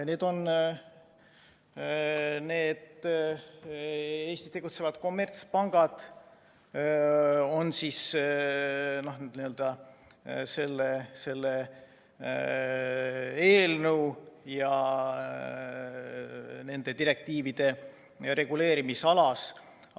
Need Eestis tegutsevad kommertspangad on selle eelnõu ja nende direktiivide reguleerimisalas.